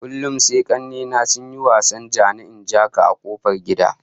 Kullum sai kanne na sun yi wasar ja-ni-in-ja-ka a kofar gida